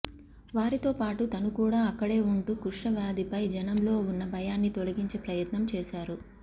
వారితో పాటు తను కూడా అక్కడే ఉంటూ కుష్టువ్యాధిపై జనంలో ఉన్న భయాన్ని తొలగించే ప్రయత్నం చేశారు